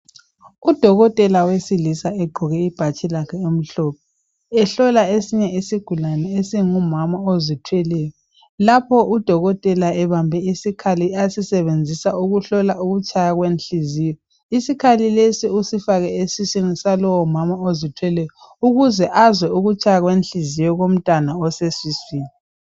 Udokokotela wesilisa egqoke ibhatshi lakhe elimhlophe ehlola esinye isigulane esingumama ozithweleyo, lapho udokotela ebambe isikhali asisebenzisa ukuhlola ukutshaya kwenhliziyo, isikhali lesi usifake esiswini salowomama ozithweleyo ukuze azwe ukutshaya kwenhliziyo komntwana osesiswini.